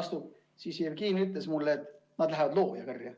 astub, siis Jevgeni ütles mulle, et nad lähevad looja karja.